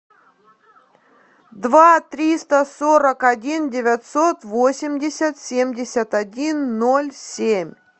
два триста сорок один девятьсот восемьдесят семьдесят один ноль семь